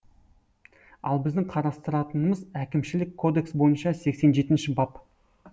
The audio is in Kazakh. ал біздің қарастыратынымыз әкімшілік кодекс бойынша сексен жеінші бап